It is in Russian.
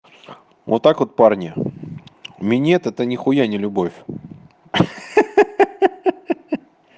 вот так вот парни минет это нихуя не любовь ха-ха